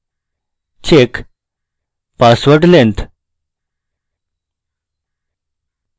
check password length